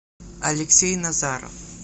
алексей назаров